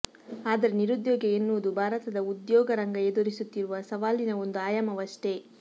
ಆದರೆ ನಿರುದ್ಯೋಗ ಎನ್ನುವುದು ಭಾರತದ ಉದ್ಯೋಗ ರಂಗ ಎದುರಿಸುತ್ತಿರುವ ಸವಾಲಿನ ಒಂದು ಆಯಾಮವಷ್ಟೇ